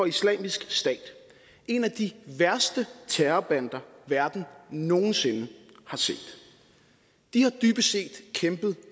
islamisk stat en af de værste terrorbander verden nogen sinde har set de har dybest set kæmpet